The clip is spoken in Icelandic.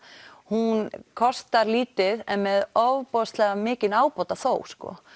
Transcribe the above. hún kostar lítið en með ofboðslega mikinn ábóta þó